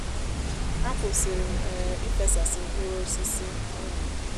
a kwụsịrị m um ífesásí mkpụrụ osisi um